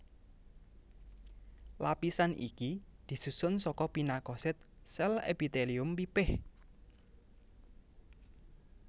Lapisan iki disusun saka pinakosit sél epitelium pipih